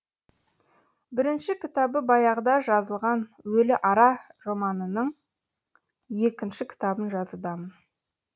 бірінші кітабы баяғыда жазылған өліара романымның екінші кітабын жазудамын